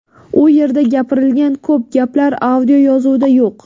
U yerda gapirilgan ko‘p gaplar audioyozuvda yo‘q.